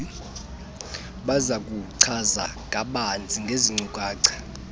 bazakuchaza kabanzi ngeezinkcukacha